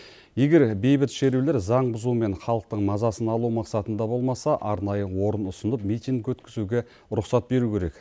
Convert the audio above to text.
егер бейбіт шерулер заң бұзу мен халықтың мазасын алу мақсатында болмаса арнайы орын ұсынып митинг өткізуге рұқсат беру керек